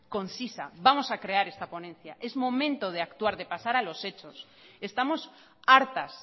concisa vamos a crear esta ponencia es momento de actuar y pasar a los hechos estamos hartas